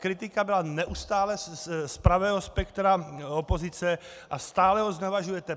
Kritika byla neustále z pravého spektra opozice a stále ho znevažujete.